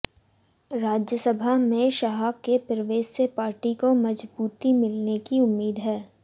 राज्यसभा में शाह के प्रवेश से पार्टी को मजबूती मिलने की उम्मीद है